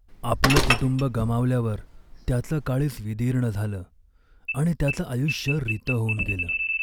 आपलं कुटुंब गमावल्यावर त्याचं काळीज विदीर्ण झालं आणि त्याचं आयुष्य रितं होऊन गेलं.